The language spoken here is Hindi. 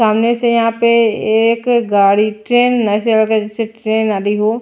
सामने से यहां पे एक गाड़ी ट्रेन ऐसे लग रहा है जैसे ट्रेन आ रही हो।